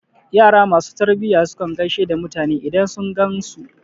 Yara ma su tarbiya su kan gaishe da mutane idan sun gan su.